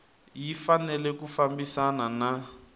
yi fanele ku fambisana na